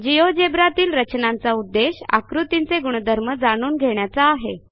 GeoGebra तील रचनांचा उद्देश आकृतींचे गुणधर्म जाणून घेण्याचा आहे